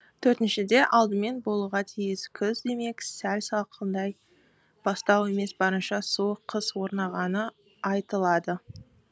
төртіншіде алдымен болуға тиіс күз демек сәл салқындай бастау емес барынша суық қыс орнағаны айтылады